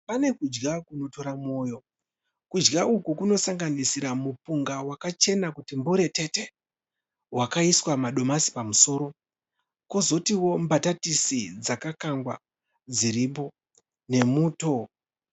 Pane kudya kunotora moyo. Kudya uku kunosanganisira mupunga wakachena kuti mburetete. Wakaiswa madomasi pamusoro ,kozotiwo mbatatisi dzakakangwa , nemuto.